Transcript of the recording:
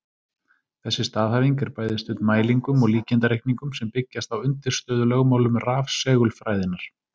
Þessi staðhæfing er bæði studd mælingum og líkanreikningum sem byggjast á undirstöðulögmálum rafsegulfræðinnar.